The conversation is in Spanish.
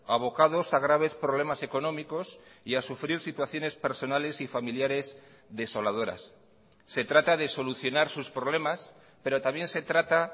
abocados a graves problemas económicos y a sufrir situaciones personales y familiares desoladoras se trata de solucionar sus problemas pero también se trata